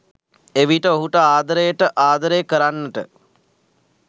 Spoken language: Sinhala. එවිට ඔහුට ආදරයට ආදරය කරන්නට